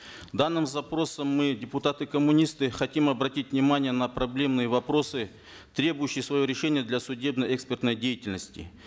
данным запросом мы депутаты коммунисты хотим обратить внимание на проблемные вопросы требующие своего решения для судебно экспертной деятельности